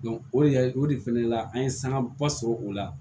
o de o de fɛnɛ la an ye sanga ba sɔrɔ o la